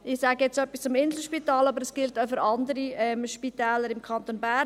Ich sage etwas zum Inselspital, aber dies gilt auch für andere Spitäler im Kanton Bern.